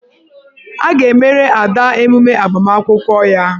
A ga-emere Ada emume agbamakwụkwọ ya.